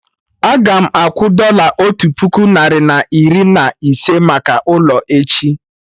Agam akwụ dọla otu puku narị na iri na ise maka ụlọ, echi